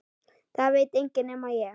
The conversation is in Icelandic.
Það veit enginn nema ég.